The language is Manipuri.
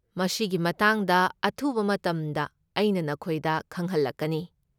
ꯃꯁꯤꯒꯤ ꯃꯇꯥꯡꯗ ꯑꯊꯨꯕ ꯃꯇꯝꯗ ꯑꯩꯅ ꯅꯈꯣꯏꯗ ꯈꯪꯍꯜꯂꯛꯀꯅꯤ꯫